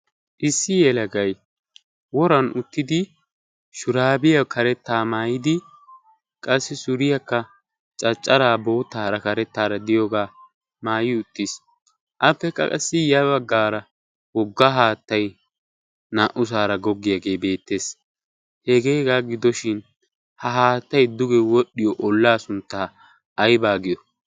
Issi yelagay woran uttidi shuraabiya karettaara maayidi qassi suriyakka caccaraa boottaara karettaara de'iyogaa maayi uttiis, Appekka qassi ya baggaara wogga haattay naa"ussaara goggiyaagee beettees. Hegee hegaa giddoshin ha haattay duge wodhdhiyo ollaa sunttaa aybaa giyo?